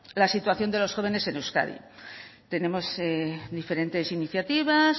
la situación de los jóvenes en euskadi tenemos diferentes iniciativas